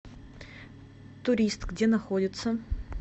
турист где находится